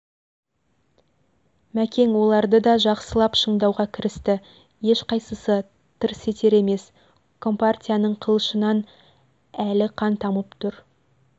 мәкең оларды да жақсылап шыңдауға кірісті ешқайсысы тырс етер емес компартияның қылышынан әлі қан тамып тұр